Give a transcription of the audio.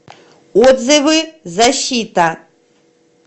отзывы защита